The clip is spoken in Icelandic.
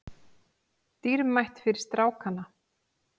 Dýrmætt fyrir strákana